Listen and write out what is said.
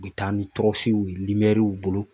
U bɛ taa ni tɔrɔsiw ye bolo